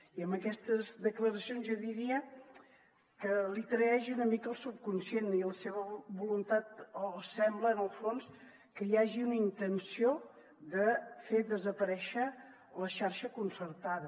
i amb aquestes declaracions jo diria que el traeix una mica el subconscient i la seva voluntat o sembla en el fons que hi hagi una intenció de fer desaparèixer la xarxa concertada